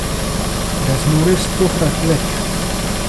Da zmore stokrat več.